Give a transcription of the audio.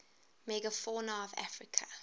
megafauna of africa